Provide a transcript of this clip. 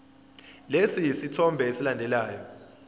lesi sithombe esilandelayo